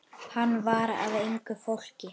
Hann var af engu fólki.